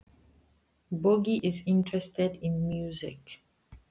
Bogi hefur áhuga á tónlist.